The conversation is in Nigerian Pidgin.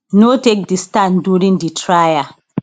no take di stand during di trial